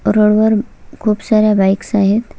Road वर खूप साऱ्या बाईक्स आहेत.